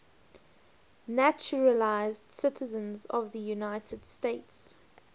naturalized citizens of the united states